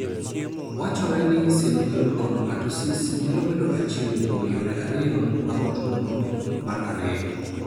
Wachre ni synovial chondromatosis nyalo bedo achiel kuom yore ariyo mag tuwono mar ariyo.